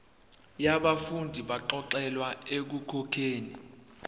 yabafundi abaxolelwa ekukhokheni